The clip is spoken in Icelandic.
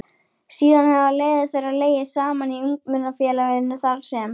Síðan hafa leiðir þeirra legið saman í Ungmennafélaginu þar sem